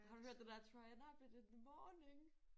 Har du hørt den der Troy and Abed in the morning?